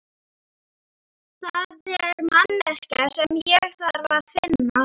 Það er manneskja sem ég þarf að finna.